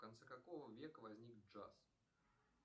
в конце какого века возник джаз